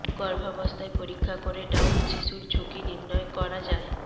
গর্ভাবস্থায় পরীক্ষা করে ডাউন শিশুর ঝুঁকি নির্ণয় করা যায়